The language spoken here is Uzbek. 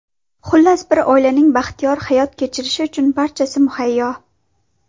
Xullas, bir oilaning baxtiyor hayot kechirishi uchun barchasi muhayyo.